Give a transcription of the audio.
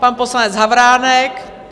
Pan poslanec Havránek?